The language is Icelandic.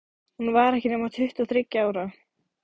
Hún var ekki nema tuttugu og þriggja ára.